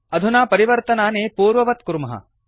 अधुना परिवर्तनानि पूर्ववत् कुर्मः